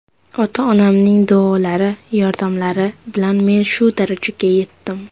Ota-onamning duolari, yordamlari bilan men shu darajaga yetdim.